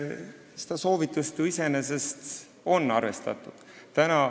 Seda soovitust on ju iseenesest arvestatud.